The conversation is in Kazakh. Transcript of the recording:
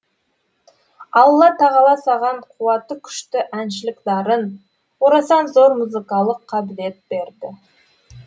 алла тағала саған қуаты күшті әншілік дарын орасан зор музыкалық қабілет берді